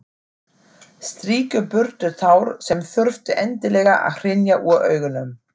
Strýkur burtu tár sem þurftu endilega að hrynja úr augunum.